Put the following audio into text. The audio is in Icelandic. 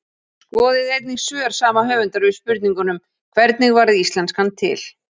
Skoðið einnig svör sama höfundar við spurningunum: Hvernig varð íslenskan til?